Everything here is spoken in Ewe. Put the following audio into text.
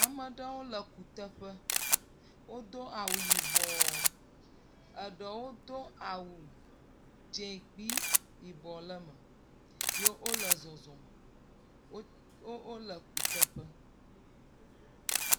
Ame aɖewo le kuteƒe, wodo awu yibɔ, eɖewo do awu, dzɛ̃ kple yibɔ le eme ye wole zɔzɔm wo ye wole kuteƒe